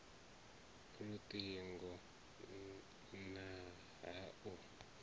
lut ingo na ha u